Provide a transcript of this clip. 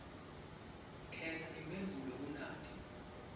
khetsa imphendvulo kunati